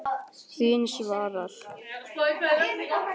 Þín Svava.